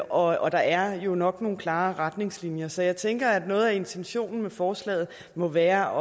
og og der er jo nok nogle klare retningslinjer så jeg tænker at noget af intentionen med forslaget må være